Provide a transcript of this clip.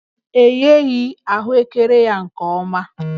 E gheghị ahụekere ya nke ọma